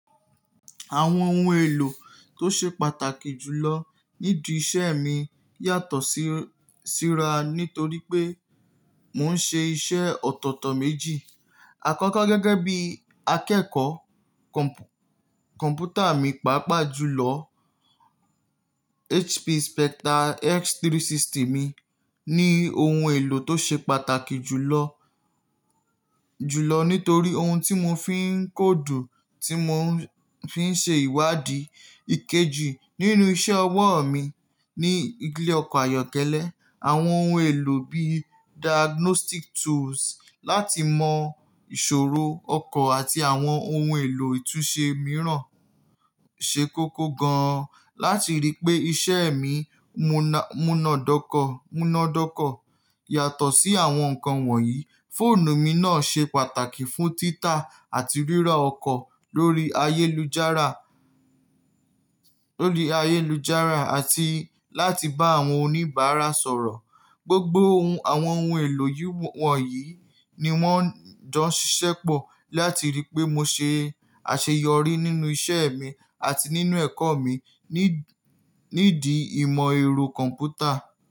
Àwọn ohun èlò tó ṣe pàtàkì jù lọ nídi iṣẹ́ mi yàtọ̀ si síra nítorí pé mò ń ṣe iṣẹ́ ọ̀tọ̀ọ̀tọ̀ méjì. Àkọ́kọ́ gẹ́gẹ́ bí akẹ́kọ̀ọ́ kọ̀m̀pútà mi, pàápàá jùlọ HP Spectre x360 mi ni ohun èlò tó ṣe pàtàkì jùlọ, jùlọ nítorí ohun tí mo fi ń kóòdù, tí mo fi ń ṣe ìwádìí. Ìkejì nínú iṣẹ́ ọwọ́ mi ní ilé ọkọ̀ ayọ́kẹ́lẹ́, àwọn ohun èlò bí diagnostic tools láti mọ ìṣòro ọkọ̀ àti àwọn ohun èlò ìtúnṣe mìíràn ṣe kókó gan-an. Láti rí pé iṣẹ́ mi múnádọ́kọ, múnádọ́kọ yàtọ̀ sí àwọn nǹkan wọ̀nyí. Fóònù mi náà ṣe pàtàkì fún títà àti rírọ̀ ọkọ̀ lórí ayélujára, lórí ayélujára àti láti bá àwọn oníbàárà sọ̀rọ̀. Gbogbo àwọn ohun èlò wọ̀nyí ni wọ́n ń jọ ṣiṣẹ́ pọ̀ láti rí pé mo ṣe àṣeyọrí nínú iṣẹ́ mi àti nínú ẹ̀kọ́ mi nídi ìmọ̀ ẹ̀rọ kọ̀m̀pútà.